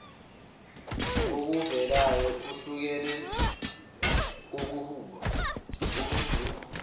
kokuvelayo okuhlukene kobuh